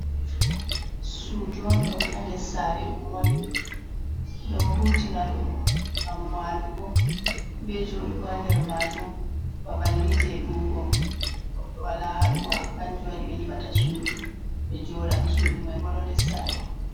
Sudu on ɗo ha nder saare ɗum woni, do hutina ɗum ngam walugo, be joɗugo ha nder majun, babal ni je ɗuwugo to goɗɗo wala ha ɗuwa, kanjum waɗi ɓe nyiɓata sudu ɓe joɗa, sudu mai bo ɗo nder saare.